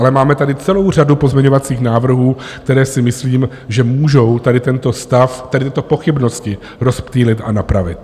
Ale máme tady celou řadu pozměňovacích návrhů, které si myslím, že můžou tady tento stav, tady tyto pochybnosti rozptýlit a napravit.